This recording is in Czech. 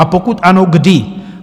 A pokud ano, kdy?